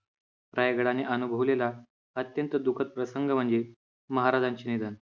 रायगडाने अनुभवलेला अत्यंत दुःखद प्रसंग म्हणजे महाराजांचे निधन.